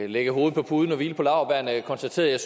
lægge hovedet på puden og hvile på laurbærrene konstateret